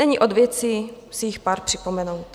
Není od věci si jich pár připomenout.